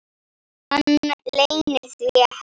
Hann leynir því ekki.